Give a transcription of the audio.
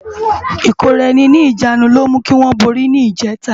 Ikóráèni ni ijânú ló mú kiwòn bóri ni ijètá